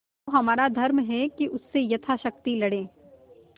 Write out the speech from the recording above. तो हमारा धर्म है कि उससे यथाशक्ति लड़ें